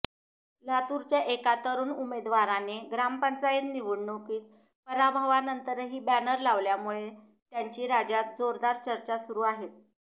लातूरच्या एका तरुण उमेदवाराने ग्रामपंचायत निवडणुकीत पराभवानंतरही बॅनर लावल्यामुळे त्यांची राज्यात जोरदार चर्चा सुरु आहे